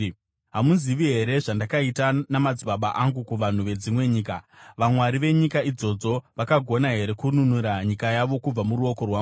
“Hamuzivi here zvandakaita namadzibaba angu kuvanhu vedzimwe nyika? Vamwari venyika idzodzo vakagona here kununura nyika yavo kubva muruoko rwangu?